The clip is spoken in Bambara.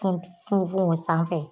funfun o sanfɛ.